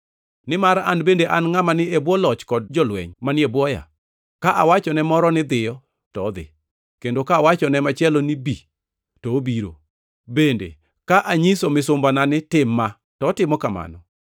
Nimar an bende an ngʼama ni e bwo loch kod jolweny manie bwoya. Ka awacho ne moro ni, ‘Dhiyo,’ to odhi; kendo ka awacho ne machielo ni, ‘Bi,’ to obiro. Bende, ka anyiso misumbana ni, ‘Tim ma,’ to otimo kamano.”